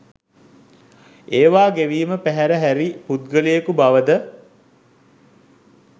ඒවා ගෙවීම පැහැර හැරි පුද්ගලයකු බවද